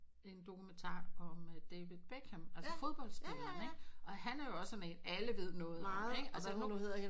En dokumentar om at David Beckham altså fodboldspilleren ikke og han er jo også er med at alle ved noget om ham ikke